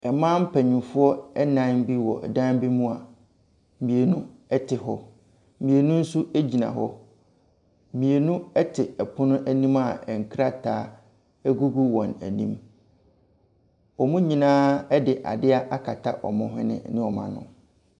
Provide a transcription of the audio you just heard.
Mmaa mapanyinfoɔ nnan bi wɔ dan bi mu a, mmienu ɛte hɔ. Mmienu ɛnso egyina hɔ. Mmienu ɛte ɛpono anim a nkrataa ɛgugu wɔn anim. Wɔn nyinaa de adeɛ akata wɔn whɛne ne wɔn ano.